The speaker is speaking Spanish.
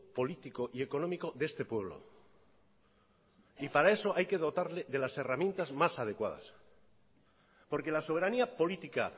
político y económico de este pueblo y para eso hay que dotarle de las herramientas más adecuadas porque la soberanía política